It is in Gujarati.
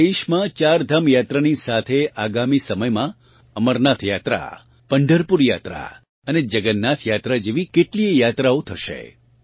અત્યારે આપણાં દેશમાં ચારધામ યાત્રા ની સાથે આગામી સમયમાં અમરનાથ યાત્રા પંઢરપુર યાત્રા અને જગન્નાથ યાત્રા જેવી કેટલીએ યાત્રાઓ થશે